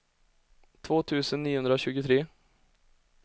två tusen niohundratjugotre